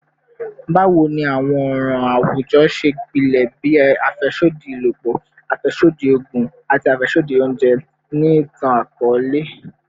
Bawo ni awọn ọran awujọ ṣe gbilẹ bii afẹsodi ibalopọ, afẹsodi oogun, ati afẹsodi ounjẹ ni itan-akọọlẹ?